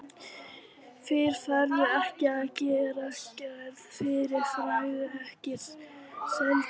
Fyrr færðu ekki að greiða gjaldið, fyrr færðu ekki seglin.